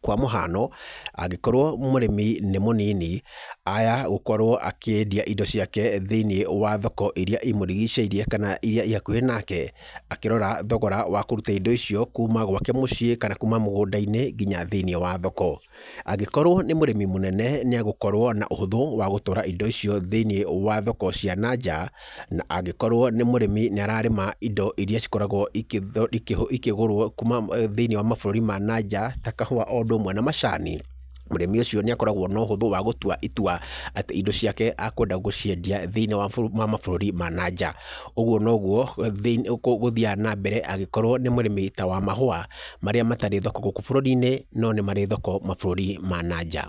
kwa mũhano, angĩkorwo mũrĩmi nĩ mũnini, aya gũkorwo akĩendia indo ciake thĩinĩ wa thoko iria imũrigicĩirie, kana iria ihakuhĩ nake, akĩrora thogoro wa kũruta indo icio kuuma gwake mũciĩ, kana kuuma mũgũnda-inĩ ngina thĩinĩ wa thoko, angĩkorwo nĩ mũrĩmi mũnene nĩ egũkorwo na ũhũtho wa gũtwara indo icio thĩinĩ wa thoko cia nanja, na angĩkorwo nĩ mũrĩmi nĩ ararĩma indo iria cikoragwo igĩtho, ikĩgũrwo kuuma eeh thĩinĩ wamabũrũri ma nanja ta kahuwa o ũndũ ũmwe na macani, mũrĩmi ũcio nĩ akoragwo na ũhũthũ wa gũtwa itwa, atĩ indo ciake ekwenda gũciendia thĩinĩ wa mabũrũri ma nanja, ũguo noguo gũthiaga na mbere angĩkorwo nĩ mũrĩmi tawa mahũwa marĩa matarĩ thoko gũkũ bũrũri-inĩ, no nĩmarĩ thoko mabũrũri-inĩ mananja.